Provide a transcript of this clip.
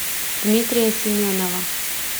дмитрия семенова